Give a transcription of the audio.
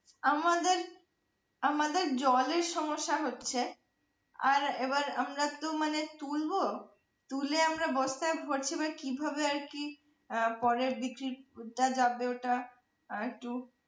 আমাদের আমাদের জলের সমস্যা হচ্ছে আর এবার আমরাতো মানে তুলবো তুলে আমরা বস্তায় ভরছি মানে কিভাবে আর কি ফলের বীজ টা যাবে ওটা একটু